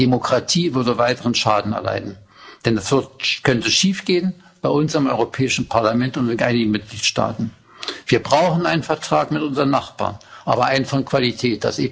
Die Demokratie würde weiteren Schaden erleiden, denn es könnte schiefgehen, bei uns im Europäischen Parlament und in einigen Mitgliedstaaten. Wir brauchen einen Vertrag mit unseren Nachbarn, aber einen von Qualität.